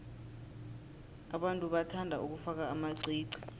abantu bathanda ukufaka amaqiqi